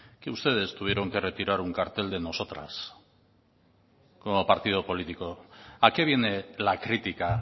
que ustedes tuvieron que retirar un cartel de nosotras como partido político a qué viene la crítica